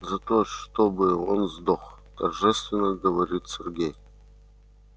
за то чтобы он сдох торжественно говорит сергей